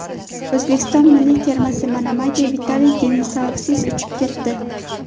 O‘zbekiston milliy termasi Manamaga Vitaliy Denisovsiz uchib ketdi.